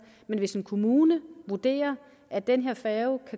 men hvis en kommune vurderer at den her færge